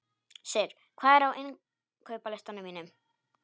Sigur, hvað er á innkaupalistanum mínum?